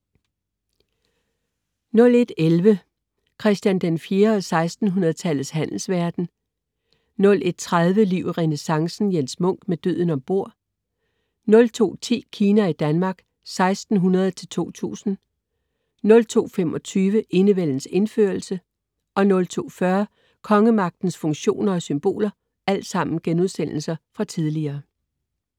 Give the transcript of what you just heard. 01.11 Christian IV og 1600-tallets handelsverden* 01.30 Liv i renæssancen. Jens Munk: Med døden ombord* 02.10 Kina i Danmark 1600-2000* 02.25 Enevældens indførelse* 02.40 Kongemagtens funktioner og symboler*